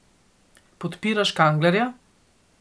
Podpiraš Kanglerja.